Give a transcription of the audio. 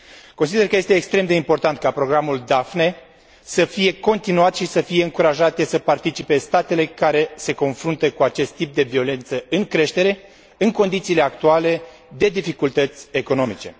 Consider că este extrem de important ca Programul Daphne să fie continuat și să fie încurajate să participe statele care se confruntă cu acest tip de violență în creștere în condițiile actuale de dificultăți economice.